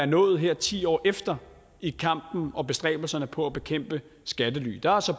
nået her ti år efter i kampen og bestræbelserne på at bekæmpe skattely der har så